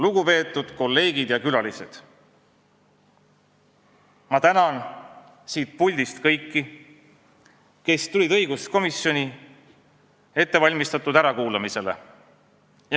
Lugupeetud kolleegid ja külalised, ma tänan siit puldist kõiki, kes tulid õiguskomisjoni ettevalmistatud ärakuulamisele!